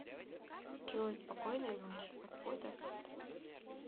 джой спокойной ночи отбой до завтра